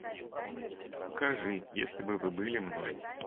покажи если бы вы были мной